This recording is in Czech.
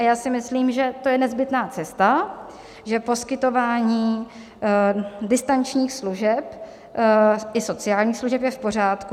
A já si myslím, že to je nezbytná cesta, že poskytování distančních služeb i sociálních služeb je v pořádku.